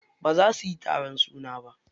Baza suyi taron suna ba.